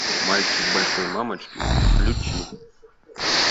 мальчик большой мамочки включи